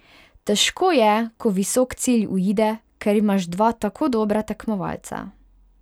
Težko je, ko visok cilj uide, ker imaš dva tako dobra tekmovalca.